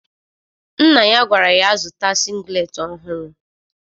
Nna ya gwara ya zụta singleti ọhụrụ